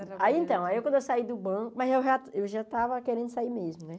Aí então, aí quando eu saí do banco, mas eu já eu já estava querendo sair mesmo, né?